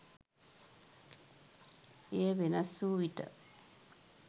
එය වෙනස් වූ විට